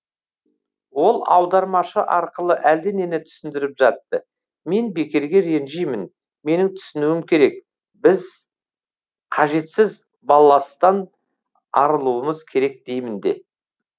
ол аудармашы арқылы әлденені түсіндіріп жатты мен бекерге ренжимін менің түсінуім керек біз қажетсіз балластан арылуымыз керек деймін де